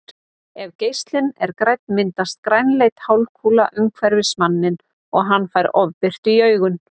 Ef geislinn er grænn myndast grænleit hálfkúla umhverfis manninn og hann fær ofbirtu í augun.